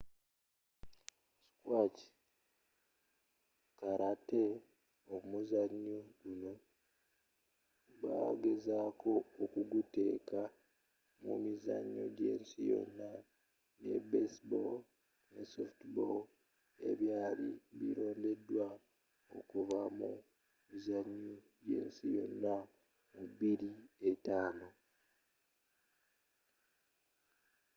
squash karate omuzannyo guno bagezaako okuguteeka mu mizannyo gy'ensi yonna ne baseball ne softball ebyali birondeddwa okuva mu mizannyo gy'ensi yonna mu 2005